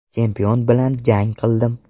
Chempion bilan jang qildim.